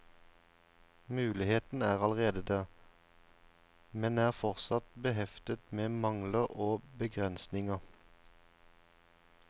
Muligheten er allerede der, men er fortsatt beheftet med mangler og begrensninger.